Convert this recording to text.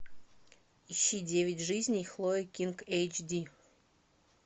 ищи девять жизней хлоя кинг эйч ди